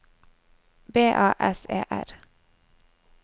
B A S E R